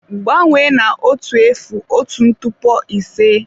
Gbanwee na otu efu otu ntụpọ ise.